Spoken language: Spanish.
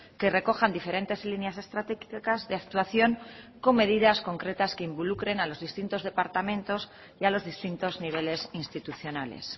que recojan diferentes líneas estratégicas de actuación con medidas concretas que involucren a los distintos departamentos y a los distintos niveles institucionales